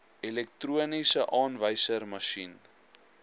elektroniese aanwyserma sjien